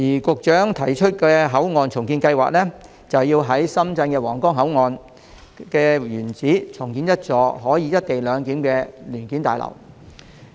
局長提出的口岸重建計劃，正是要在深圳的皇崗口岸原址重建一幢可進行"一地兩檢"的聯檢大樓。